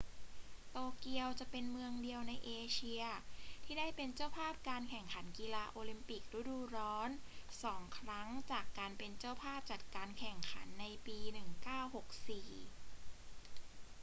โตเกียวจะเป็นเมืองเดียวในเอเชียที่ได้เป็นเจ้าภาพการแข่งขันกีฬาโอลิมปิกฤดูร้อนสองครั้งจากการเป็นเจ้าภาพจัดการแข่งขันในปี 1964